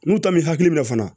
N'u ta m'i hakili minɛ fana